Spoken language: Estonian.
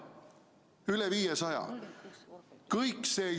Üle 500!